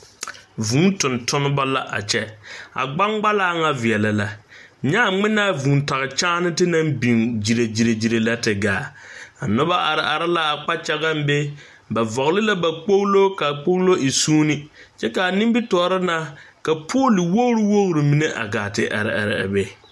Vūū tontoneba la a kyɛ a gbangbalaa ŋa veɛlɛ la nyɛ a ŋmenaa vūū tage kyaate naŋ biŋ gyile gyile gyile lɛ te gaa a noba are are la a kpakyagaŋ be ba vɔgle la ba kpoglo k,a kpoglo e soonee kyɛ k,a nimitɔɔre na ka poole wogri wogri mine gaa te are are a be.